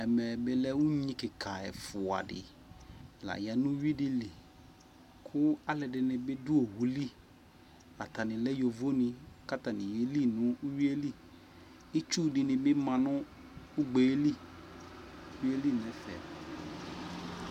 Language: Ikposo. Ɛmɛ bi lɛ unyi kika ɛfua di la ya nʋ uwi di li kʋ alʋɛdini bi dʋ owu li Atani lɛ yovo ni kʋ atani yeli nʋ uwi yɛ li Itsu di ni bi ma nʋ ugbe ɛ li, nʋ uwi yɛ li nɛfɛ